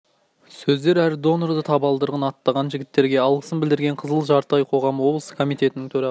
сөздер әр донорды табалдырығын аттаған жігіттерге алғысын білдірген қызыл жарты ай қоғамы облыстың комитетінің төрағасы